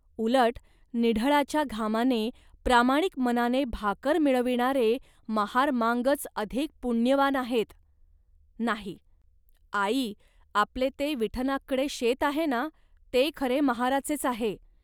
उलट निढळाच्या घामाने प्रामाणिक मनाने भाकर मिळविणारे महारमांगच अधिक पुण्यवान आहेत, नाही, आई. आपले ते विठनाककडे शेत आहे ना, ते खरे महाराचेच आहे